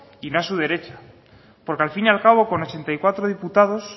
y su derecha porque al fin y al cabo con ochenta y cuatro diputados